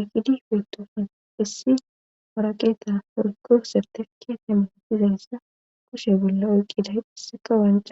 iqidi beetoofun issi morakeeta porko serte keete menotizayssa koshe bolla oyqqiday dhisseka wanca.